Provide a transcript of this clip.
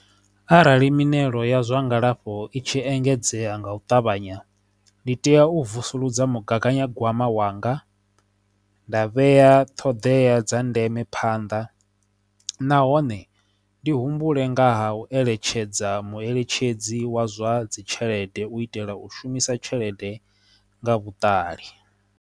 Arali mitshelo ya zwa ngalafho i tshi engedzea nga u ṱavhanya ndi tea u vusuludza mugaganyagwama wanga nda vhea ṱhoḓea dza ndeme phanḓa phanḓa nahone ndi humbule nga ha u eletshedza mueletshedzi wa zwa dzi tshelede u itela u shumisa tshelede nga vhuṱali.